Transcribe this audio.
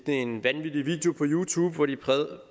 en vanvittig video liggende på youtube hvor de